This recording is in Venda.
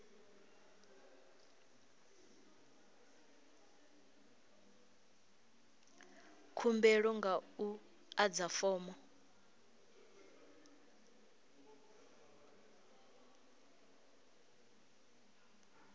khumbelo nga u adza fomo